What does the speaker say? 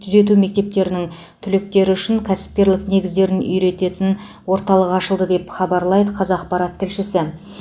түзету мектептерінің түлектері үшін кәсіпкерлік негіздерін үйрететін орталық ашылды деп хабарлайды қазақпарат тілшісі